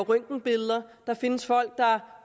røntgenbilleder der findes folk der